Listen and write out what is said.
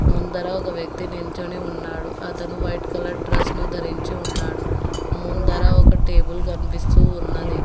ముందర ఒక వ్యక్తి నించొని ఉన్నాడు అతను వైట్ కలర్ డ్రెస్ ను ధరించి ఉన్నాడు ముందర ఒక టేబుల్ కనిపిస్తూ ఉన్నది.